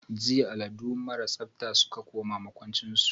jiya alladu marasa tsabta suka koma makwanchin su.